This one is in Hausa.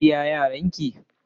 Kin biya Yaran ki?.